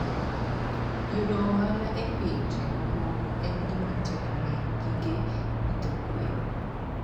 Yudo ohala e pinje mamoko en gima tek ne gige pidho gwen.